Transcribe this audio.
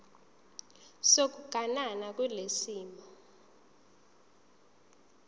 sokuganana kulesi simo